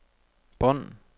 bånd